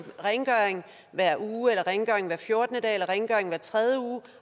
rengøring hver uge eller rengøring hver fjortende dag eller rengøring hver tredje uge